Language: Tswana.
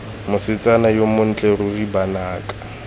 mosetsana yo montle ruri banaka